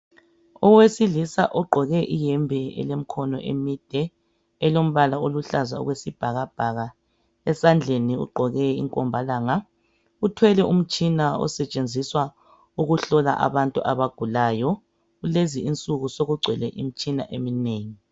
Owesilisa ogqoke iyembe elemkhono emide elombala oluhlaza okwesibhakabhaka. Esandleni ugqoke inkombalanga . Uthwele umtshina osetshenziswa ukuhlola abantu abagulayo. Kulezi insuku sokugcwele imitshina eminengi.